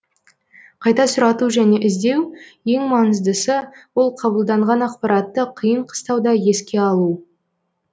қайта сұрату және іздеу ең маңыздысы ол қабылданған ақпаратты қиын қыстауда еске алу